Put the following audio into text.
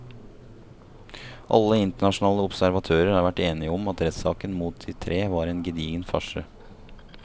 Alle internasjonale observatører har vært enige om at rettssaken mot de tre var en gedigen farse.